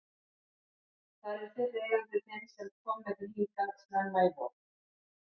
Það er fyrri eigandi þinn sem kom með þig hingað snemma í vor.